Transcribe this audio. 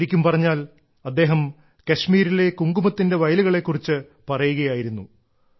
ശരിക്കും പറഞ്ഞാൽ അദ്ദേഹം കശ്മീരിലെ കുങ്കുമത്തിന്റെ വയലുകളെ കുറിച്ച് പറയുകയായിരുന്നു